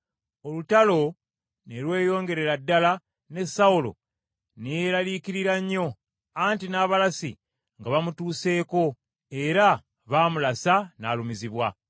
Olutalo ne lweyongerera ddala ne Sawulo ne yeeraliikirira nnyo, anti n’abalasi nga bamutuseeko era baamulasa n’alumizibwa.